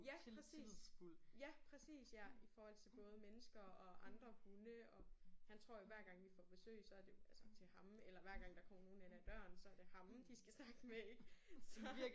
Ja præcis. Ja præcis ja i forhold til både mennesker og andre hunde og han tror jo hver gang vi får besøg så er det jo altså til ham eller hver gang der kommer nogen ind ad døren så er det ham de skal snakke med ik så